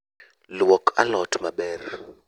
Luok alot maber